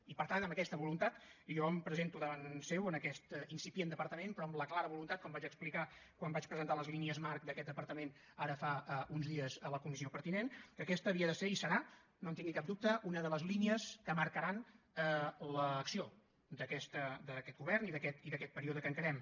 i per tant amb aquesta voluntat jo em presento davant seu en aquest incipient departament però amb la clara voluntat com vaig explicar quan vaig presentar les línies marc d’aquest departament ara fa uns dies a la comissió pertinent que aquesta havia de ser i ho serà no en tingui cap dubte una de les línies que marcaran l’acció d’aquest govern i d’aquest període que encarem